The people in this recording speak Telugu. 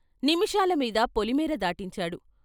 నిమిషాల మీద పొలిమేర దాటించాడు.